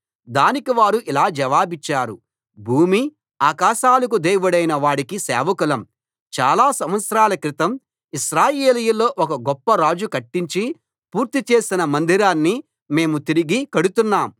దానికి వారు ఇలా జవాబిచ్చారు భూమి ఆకాశాలకు దేవుడైన వాడికి సేవకులం చాలా సంవత్సరాల క్రితం ఇశ్రాయేలీయుల్లో ఒక గొప్ప రాజు కట్టించి పూర్తి చేసిన మందిరాన్ని మేము తిరిగి కడుతున్నాం